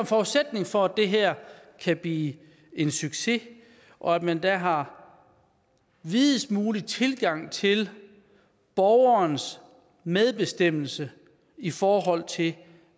forudsætning for at det her kan blive en succes og at man da har videst mulig tilgang til borgerens medbestemmelse i forhold til